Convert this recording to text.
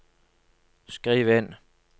skriv inn